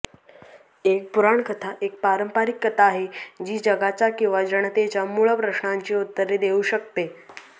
एक पुराणकथा एक पारंपारिक कथा आहे जी जगाच्या किंवा जनतेच्या मूळ प्रश्नांची उत्तरे देऊ शकते